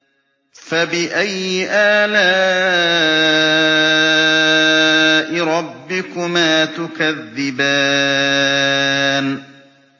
فَبِأَيِّ آلَاءِ رَبِّكُمَا تُكَذِّبَانِ